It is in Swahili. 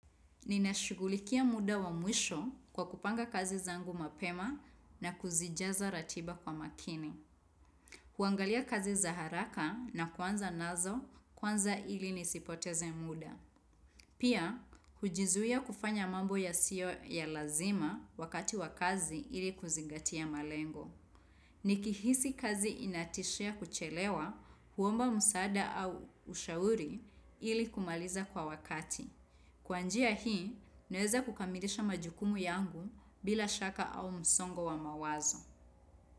Ninashughulikia muda wa mwisho kwa kupanga kazi zangu mapema na kuzijaza ratiba kwa makini. Huangalia kazi za haraka na kuanza nazo kwanza ili nisipoteze muda. Pia, hujizuia kufanya mambo yasiyo ya lazima wakati wa kazi ili kuzingatia malengo. Nikihisi kazi inatishia kuchelewa huomba msaada au ushauri ili kumaliza kwa wakati. Kwa njia hii, naweza kukamilisha majukumu yangu bila shaka au msongo wa mawazo.